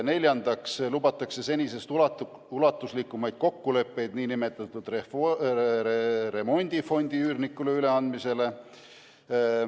Neljandaks lubatakse senisest ulatuslikumaid kokkuleppeid nn remondifondi üürnikule üleandmisel.